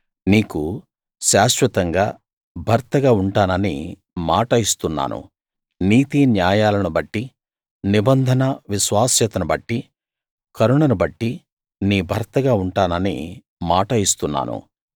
నీకు శాశ్వతంగా భర్తగా ఉంటానని మాట ఇస్తున్నాను నీతిన్యాయాలను బట్టి నిబంధన విశ్వాస్యతను బట్టి కరుణను బట్టి నీ భర్తగా ఉంటానని మాట ఇస్తున్నాను